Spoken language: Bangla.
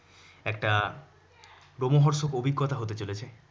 একটা লোমহর্ষক অভিজ্ঞতা হতে চলেছে।